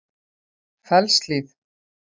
Fellshlíð